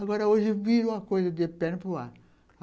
Agora, hoje, vira uma coisa de perna para o ar.